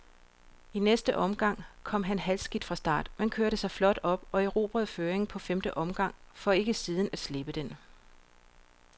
I næste omgang kom han halvskidt fra start, men kørte sig flot op og erobrede føringen på femte omgang, for ikke siden at slippe den.